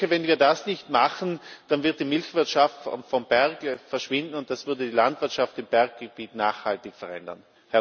Wenn wir das nicht machen, dann wird die Milchwirtschaft vom Berg verschwinden, und das würde die Landwirtschaft im Berggebiet nachhaltig verändern.